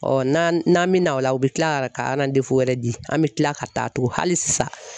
n'an n'an mi na o la u bi kila ka wɛrɛ di an mi kila ka taa tuguni hali sisan